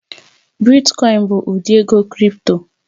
Bitkoin oin bụ ụdị ego krị́pto